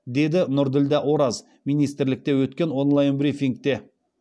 деді нұрділдә ораз министрлікте өткен онлайн брифингте